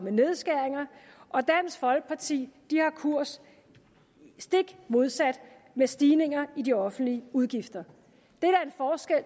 nedskæringer og dansk folkeparti har kurs stik modsat med stigninger i de offentlige udgifter det